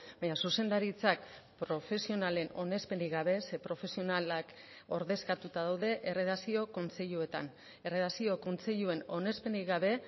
baina zuzendaritzak profesionalen onespenik gabe ze profesionalak ordezkatuta daude erredakzio kontseiluetan erredakzio kontseiluen onespenik gabe